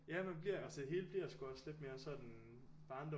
Ja man bliver altså det hele bliver sgu også lidt mere sådan barndommens